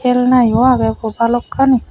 khelna u age bu bhalokkani.